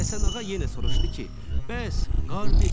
Həsənağa yenə soruşdu ki, bəs qar necə yağır?